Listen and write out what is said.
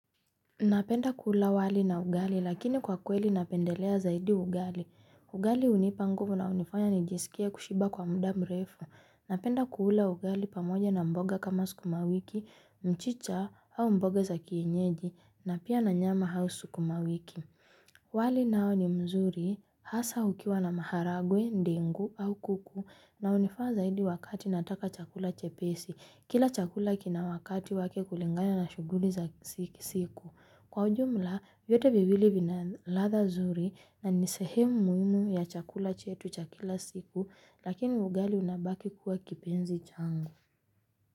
Napenda kula wali na ugali lakini kwa kweli napendelea zaidi ugali. Ugali hunipa nguvu na hunifanya nijisikie kushiba kwa muda mrefu. Napenda kuula ugali pamoja na mboga kama sukumawiki, mchicha au mboga za kienyeji na pia na nyama au sukuma wiki. Wali nao ni mzuri hasa ukiwa na maharagwe, ndengu au kuku na hunifaa zaidi wakati nataka chakula chepesi. Kila chakula kina wakati wake kulingana na shughuli za siku. Kwa ujumla vyote viwiili vina ladha nzuri na ni sehemu muhimu ya chakula chetu cha kila siku lakini ugali unabaki kuwa kipenzi changu.